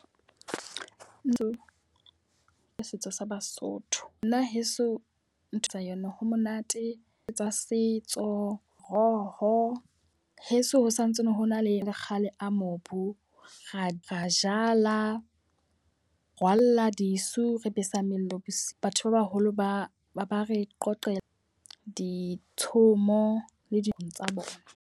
Ntho tsa setso sa Basotho. Nna heso ntho tsa yona ha monate tsa setso, moroho. Heso ho santsane hona le le kgale a mobu. Ra ra jala, rwalla disu, re besa mello. Batho ba baholo ba ba re qoqelwa ditshomo le tsa bona.